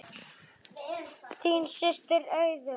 Þín systir, Auður.